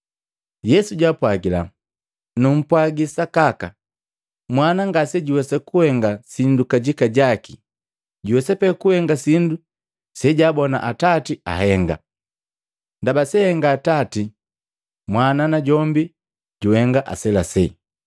Yesu jaapwagila, “Nupwaji sakaka, Mwana ngasejuwesa kuhenga sindu kajika jaki juwesa pee kuhenga sindu sejaabona Atati bakahenga. Ndaba seahenga Atati Mwana najombi juhenga aselasela.